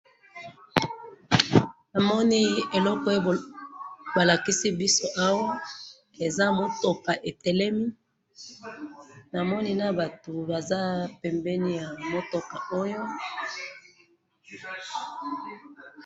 Namoni eloko